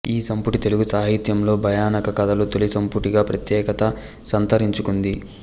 ఈ సంపుటి తెలుగు సాహిత్యంలో భయానక కథల తొలి సంపుటిగా ప్రత్యేకత సంతరించుకుంది